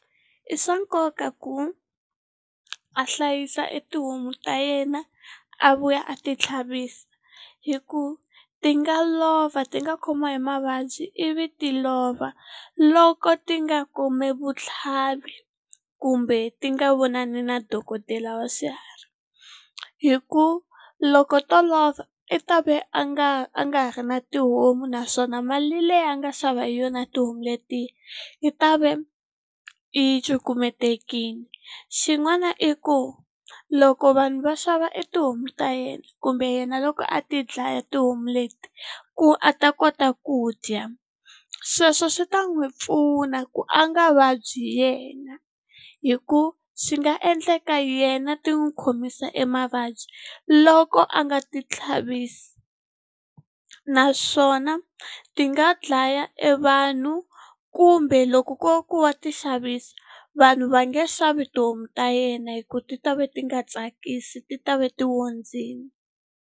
I swa nkoka ku a hlayisa etihomu ta yena, a vuya a ti tlhavisa. Hi ku ti nga lova ti nga khomiwa hi mavabyi ivi ti lova, loko ti nga kumi vutlhavisi kumbe ti nga vonani na dokodela wa swiharhi. Hi ku loko to lova i ta ve a nga a nga ha ri na tihomu naswona mali leyi a nga xava hi yona tihomu letiya, yi ta ve yi cukumetekile. Xin'wana i ku loko vanhu va xava etihomu ta yena kumbe yena loko a ti dlaya tihomu leti, ku a ta kota ku dya. Sweswo swi ta n'wi pfuna ku a nga vabyi yena. Hikuva swi nga endleka yena ti n'wi khomisa emavabyi loko a nga ti tlhavisi. Naswona ti nga dlaya evanhu kumbe loko ku ri ku wa ti xavisa, vanhu va nge xavi tihomu ta yena hikuva ti ta va ti nga tsakisi, ti ta va ti ondzile.